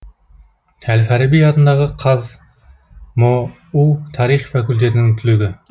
әл фараби атындағы қазмұу тарих факультетінің түлегі